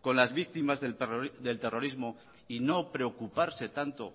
con las víctimas del terrorismo y no preocuparse tanto